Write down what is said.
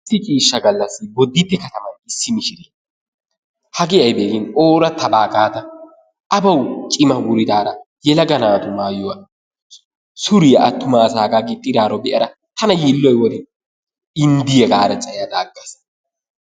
Issi ciishshaa gaallasi Bodditte katamana issi mishiriyaa hagee aybee gin oorattabaa gaada a bawu cima wuridaara yelaga naatu maayuwaa suriyaa attuma asaagaa giixxidaaro bee"ada tana yiilloy woorin inddiyaa gaada caayyada aggaas.